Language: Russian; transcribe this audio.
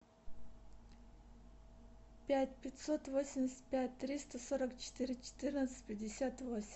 пять пятьсот восемьдесят пять триста сорок четыре четырнадцать пятьдесят восемь